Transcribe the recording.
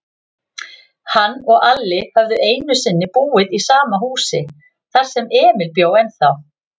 Hann og Alli höfðu einusinni búið í sama húsi, þar sem Emil bjó ennþá.